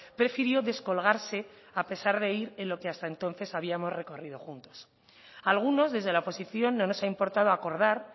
prefirió descolgarse a pesar de ir en lo que hasta entonces habíamos recorrido juntos a algunos desde la oposición no nos ha importado acordar